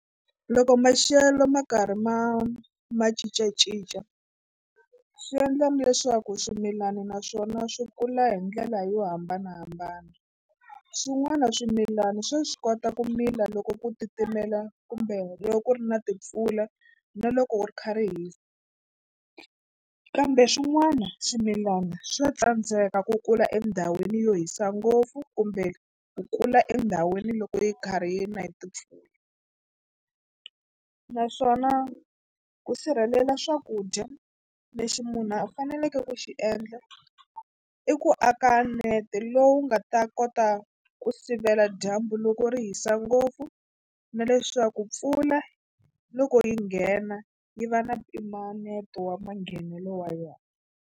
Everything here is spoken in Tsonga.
Loko maxelo ma karhi ma ma cincacinca swi endla leswaku swimilana naswona swi kula hi ndlela yo hambanahambana swin'wana swimilana swa swi kota ku mila loko ku titimela kumbe loko ku ri na timpfula na loko wu ri kha ri hisa kambe swin'wana swimilana swa tsandzeka ku kula endhawini yo hisa ngopfu kumbe ku kula endhawini loko yi karhi yi na timpfula naswona ku sirhelela swakudya lexi munhu a faneleke ku xi endla i ku aka nete lowu nga ta kota ku sivela dyambu loko ri hisa ngopfu na leswaku mpfula loko yi nghena yi va na mpimanyeto wa manghenelo wa yona.